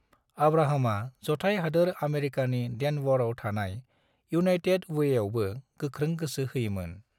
अब्राहमा जथाय हादोर आमेरिकानि डेनवरआव थानाय यूनाइटेड वेआवबो गोख्रों गोसो होयोमोन।